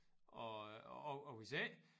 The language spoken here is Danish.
Og og og hvis ikke